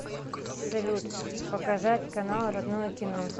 салют показать канал родное кино